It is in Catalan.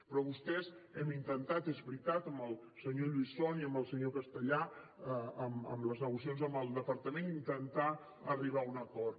però vostès hem intentat és veritat amb el senyor lluís font i amb el senyor castellà amb les negociacions amb el departament intentar arribar a un acord